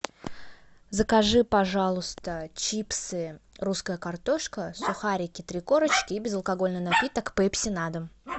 закажи пожалуйста чипсы русская картошка сухарики три корочки и безалкогольный напиток пепси на дом